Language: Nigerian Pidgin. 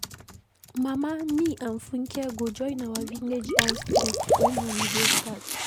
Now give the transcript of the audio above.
Mama, me and Funke go join our village dance troupe wen holiday start.